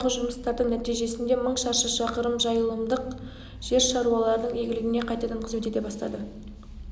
соңғы жылдардағы жұмыстардың нәтижесінде мың шаршы шақырым жайылымдық жер шаруалардың игілігіне қайтадан қызмет ете бастаған